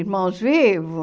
Irmãos vivos?